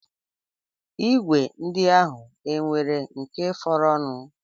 Igwe ndị ahụ e nwere nke fọrọnụ?